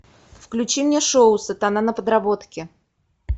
включи мне шоу сатана на подработке